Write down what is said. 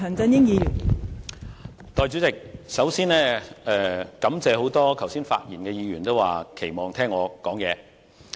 代理主席，首先，我感謝剛才多位發言的議員表示期望聽我發言。